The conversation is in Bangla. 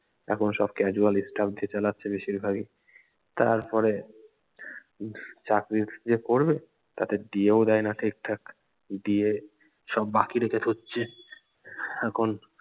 এখন সব casual staff দিয়ে চালাচ্ছে বেশিরভাগই তারপরে চাকরি যে করবে তাকে DA ও দেয়না ঠিকঠাক DA সব বাকি রেখে এখন